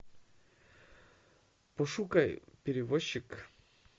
пошукай перевозчик